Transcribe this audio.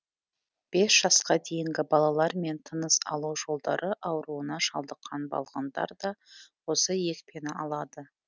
бес жасқа дейінгі балалар мен тыныс алу жолдары ауруына шалдыққан балғындар да осы екпені алады